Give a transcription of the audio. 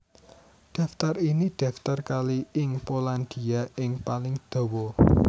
Daftar ini daftar kali ing Polandia ing paling dawa